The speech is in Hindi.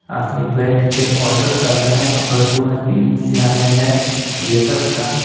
आदमी बैठ के ऑर्डर कर रहे हैं और दो आदमी इंतजार में है वेटर का--